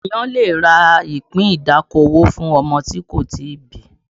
Ènìyàn lè rà ìpín ìdókòwò fún ọmọ tí kò tí ì bí